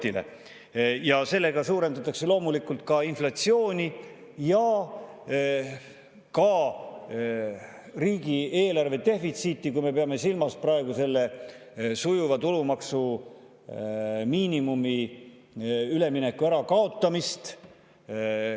Selle suurendatakse loomulikult inflatsiooni ja ka riigieelarve defitsiiti, kui me peame silmas tulumaksuvaba miinimumi sujuva ülemineku ärakaotamist.